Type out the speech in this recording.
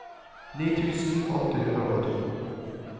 ni tusen åtte hundre og to